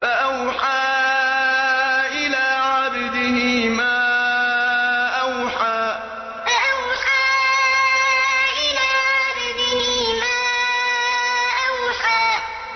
فَأَوْحَىٰ إِلَىٰ عَبْدِهِ مَا أَوْحَىٰ فَأَوْحَىٰ إِلَىٰ عَبْدِهِ مَا أَوْحَىٰ